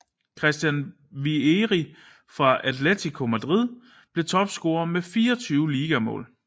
Christian Vieri fra Atlético Madrid blev topscorer med 24 ligamål